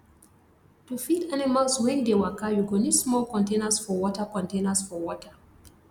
to feed animals wen dey waka you go need small containers for water containers for water